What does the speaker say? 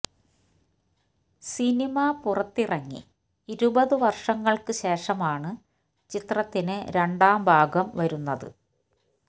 cinema പുറത്തിറങ്ങി ഇരുപത് വർഷങ്ങൾക്ക് ശേഷമാണ് ചിത്രത്തിന് രണ്ടാം ഭാഗം വരുന്നത്